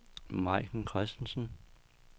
Maiken Christensen